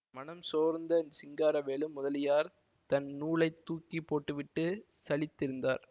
மனம்சோர்ந்த சிங்காரவேலு முதலியார் தன் நூலை தூக்கி போட்டுவிட்டு சலித்திருந்தார்